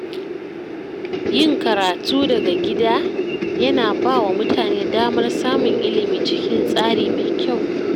Yin karatun daga gida yana ba wa mutane damar samun ilimi cikin tsari mai kyau.